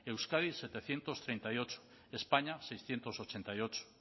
euskadi setecientos treinta y ocho españa seiscientos ochenta y ocho